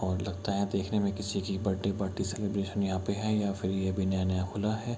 और लगता है देखने में किसी की बर्थडे पार्टी सेलिब्रेशन यहां पे है या फिर ये भी नया नया खुला है.